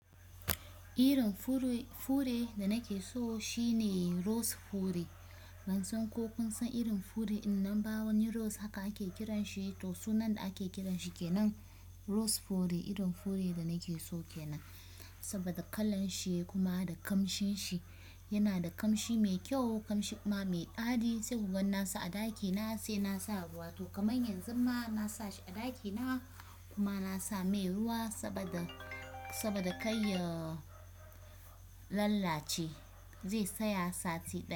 Irin fure da nake so shine rose fure. Ban san ko kun san irin fure in nan ba wani rose haka ake kiranshi to sunan da ake kiranshi kenan. Rose fure irin fure da nake so kenan saboda kalan shi kuma da kamshin shi. Yana da kamshi mai kyau, kamshi kuma mai ɗadi sai kuga na sa a ɗaki na sai naasa ruwa. To kamar yanzu ma na sa shi a ɗaki na kuma na sa mai ruwa saboda, saboda kai ya lallace zai tsaya sati ɗaya.